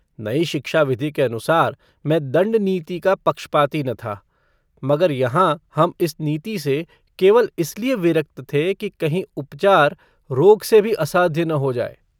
नई शिक्षा विधि के अनुसार मै दंड-नीति का पक्षपाती न था, मगर यहाँ हम इस नीति से केवल इसलिए विरक्त थे कि कहीं उपचार रोग से भी असाध्य न हो जाय।